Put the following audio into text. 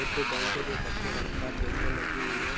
Bank है जो कत्थई रंग का पोस्टर लगी हुई है।